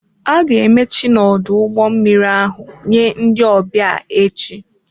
A ga-emechi n'ọdụ ụgbọ mmiri ahụ nye ndị ọbịa echi.